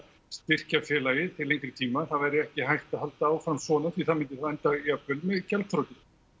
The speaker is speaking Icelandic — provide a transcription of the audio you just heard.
styrkja félagið til lengri tíma það yrði ekki hægt að halda áfram svona því það myndi þá enda jafnvel með gjaldþroti